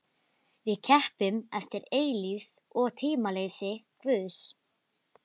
Við keppum eftir eilífð og tímaleysi Guðs.